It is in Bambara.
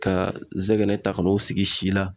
Ka zɛgɛnɛ ta ka n'o sigi si la